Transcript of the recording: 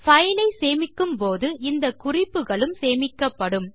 பைலை சேமிக்கும்போது இந்த குறிப்புகளும் சேர்த்து சேமிக்கப்படும்